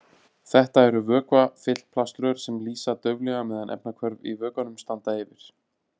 Þetta eru vökvafyllt plaströr sem lýsa dauflega meðan efnahvörf í vökvanum standa yfir.